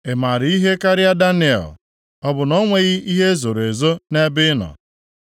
Ị maara ihe karịa Daniel? Ọ bụ na o nweghị ihe e zoro ezo nʼebe ị nọ?